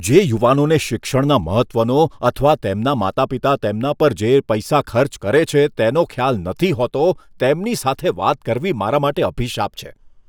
જે યુવાનોને શિક્ષણના મહત્વનો અથવા તેમના માતા પિતા તેમના પર જે પૈસા ખર્ચ કરે છે તેનો ખ્યાલ નથી હોતો, તેમની સાથે વાત કરવી મારા માટે અભિશાપ છે.